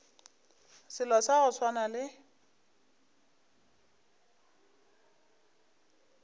selo sa go swana le